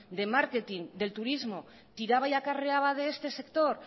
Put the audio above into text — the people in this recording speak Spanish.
de marketing del turismo tiraba y acarreaba de este sector